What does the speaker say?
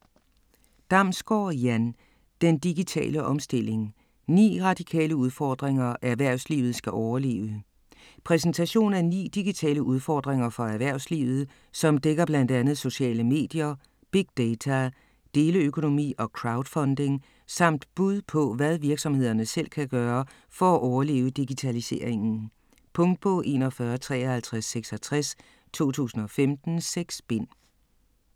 Damsgaard, Jan: Den digitale omstilling: 9 radikale udfordringer erhvervslivet skal overleve Præsentation af ni digitale udfordringer for erhvervslivet, som dækker bl.a. sociale medier, big data, deleøkonomi og crowdfunding, samt bud på hvad virksomhederne selv kan gøre for at overleve digitaliseringen. Punktbog 415366 2015. 6 bind.